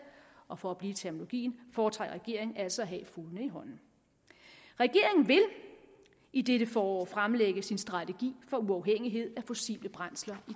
og for at blive i terminologien foretrækker regeringen altså at have fuglene i hånden regeringen vil i dette forår fremlægge sin strategi for uafhængighed af fossile brændsler i